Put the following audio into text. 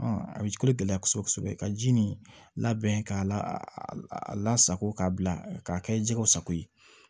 a bɛ kolo gɛlɛya kosɛbɛ kosɛbɛ ka ji nin labɛn k'a lasako k'a bila k'a kɛ jɛgɛw sago ye